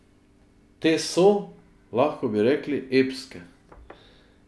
Te so, lahko bi rekli, epske.